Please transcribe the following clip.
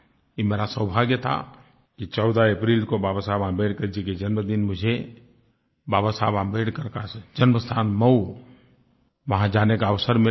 ये मेरा सौभाग्य था कि 14 अप्रैल को बाबा साहब आंबेडकर जी के जन्मदिन मुझे बाबा साहब आंबेडकर का जन्म स्थान महू वहाँ जाने का अवसर मिला